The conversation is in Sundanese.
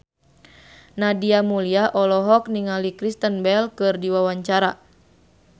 Nadia Mulya olohok ningali Kristen Bell keur diwawancara